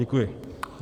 Děkuji.